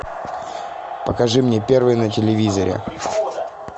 покажи мне первый на телевизоре